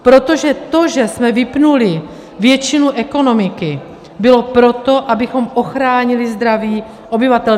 Protože to, že jsme vypnuli většinu ekonomiky, bylo proto, abychom ochránili zdraví obyvatel.